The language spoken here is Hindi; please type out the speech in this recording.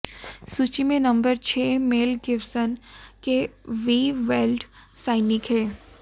सूची में नंबर छह मेल गिब्सन के वी वेल्ड सैनिक हैं